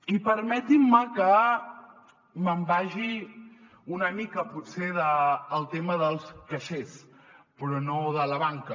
i permetin me que me’n vagi una mica potser del tema dels caixers però no de la banca